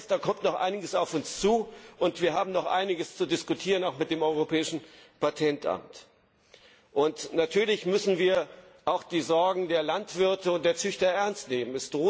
Das heißt, da kommt noch einiges auf uns zu und wir haben noch einiges zu diskutieren auch mit dem Europäischen Patentamt. Und natürlich müssen wir auch die Sorgen der Landwirte und der Züchter ernst nehmen.